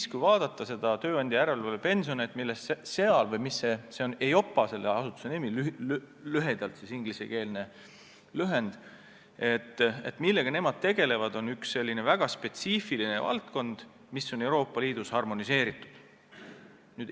Ja kui vaadata seda tööandjapensionide järelevalvet, mida EIOPA teeb, siis näeme, et see on üks väga spetsiifiline valdkond, mis on Euroopa Liidus harmoneeritud.